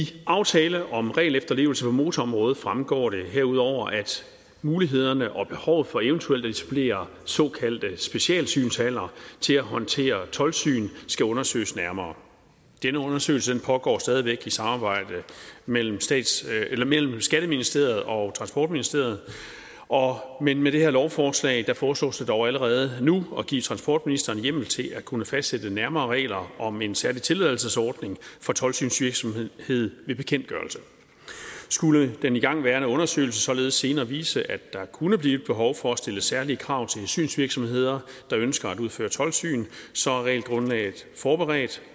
aftale om en styrket regelefterlevelse på motorområdet fremgår det herudover at mulighederne og behovet for eventuelt at supplere såkaldte specielle synshaller til at håndtere toldsyn skal undersøges nærmere denne undersøgelse pågår stadig væk i samarbejde mellem mellem skatteministeriet og transportministeriet men med det her lovforslag foreslås det dog allerede nu at give transportministeren hjemmel til at kunne fastsætte nærmere regler om en særlig tilladelsesordning for toldsynsvirksomhed ved bekendtgørelse skulle den igangværende undersøgelse således senere vise at der kunne blive et behov for at stille særlige krav til synsvirksomheder der ønsker at udføre toldsyn så er regelgrundlaget forberedt